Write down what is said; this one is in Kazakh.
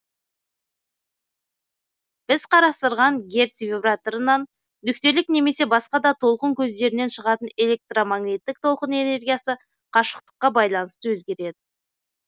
біз қарастырған герц вибраторынан нүктелік немесе басқа да толқын көздерінен шығатын электромагниттік толқын энергиясы қашықтыққа байланысты өзгереді